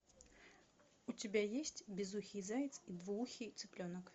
у тебя есть безухий заяц и двуухий цыпленок